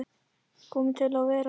Komin til að vera?